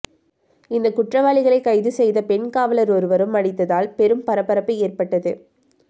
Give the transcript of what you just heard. இந்த குற்றவாளிகளை கைது செய்த பெண் காவலர் ஒருவரும் அடித்ததால் பெரும் பரபரப்பு ஏற்பட்டது